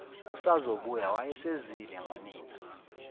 usazobuya wayesezwile ngonina